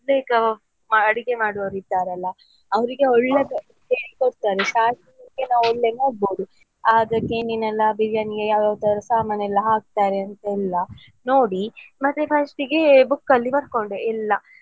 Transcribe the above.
ಅಡುಗೆ ಮಾಡುವರು ಇದ್ದಾರಲ್ಲಾ ಅವ್ರಿಗೆ ಒಳ್ಳೆ biriyani ಗೆ ಸಾಮಾನು ಹಾಕತಾರೆಂತೆಲ್ಲ ನೋಡಿ ಮತ್ತೇ first book ಅಲ್ಲಿ ಬರ್ಕೊಂಡೆ ಎಲ್ಲ.